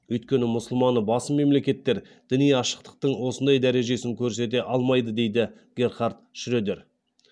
өйткені мұсылманы басым мемлекеттер діни ашықтықтың осындай дәрежесін көрсете алмайды дейді герхард шредер